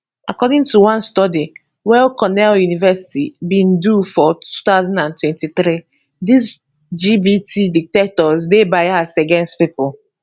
according to one study weycornell university bin do for 2023dis gpt detectors dey biased against pipo